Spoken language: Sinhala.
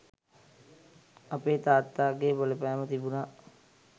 අපේ තාත්තාගේ බලපෑම තිබුණා.